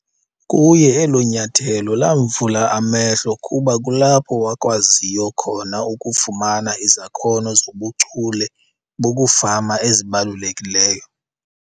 Kuye elo nyathelo lamvula amehlo kuba kulapho wakwaziyo khona ukufumana izakhono zobuchule bokufama ezibalulekileyo.